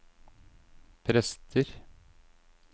prester